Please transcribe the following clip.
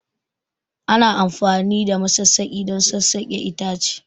Ana amfani da masassaki don sassaƙa itace